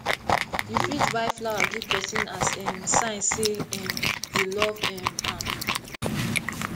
you fit buy flower give prson as a um sign sey um you love um am